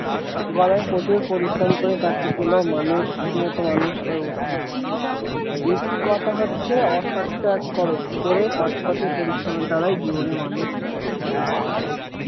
গদাই প্রচুর পরিশ্রম করে চাকরি পেল মানুষের মত মানুষ হয়ে উঠলো ইতি কথা হচ্ছে অসাধু ত্যাগ করো করে সৎপথে পরিশ্রমের দ্বারাই জীবনে মানুষ হওয়া যায়।